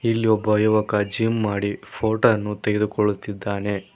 ಇಲ್ಲಿ ಒಬ್ಬ ಯುವಕ ಜಿಮ್ ಮಾಡಿ ಫೋಟೊ ವನ್ನು ತೆಗೆದುಕೊಳ್ಳುತ್ತಿದ್ದಾನೆ.